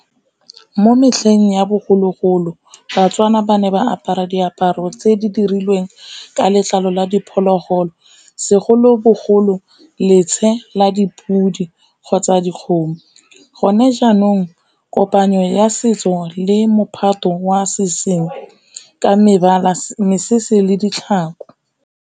Mo metlheng ya bogologolo baTswana ba ne ba apara diaparo tse di dirilweng ka letlalo la diphologolo, segolobogolo letshe la dipodi kgotsa dikgomo. Gone jaanong kopanyo ya setso le mophato wa seseng ka mebala, mesese le ditlhako.